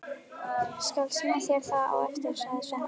Ég skal sýna þér það á eftir, sagði Svenni.